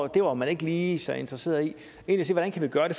det var man ikke lige så interesseret i hvordan kan vi gøre det